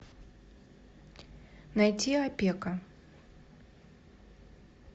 найти опека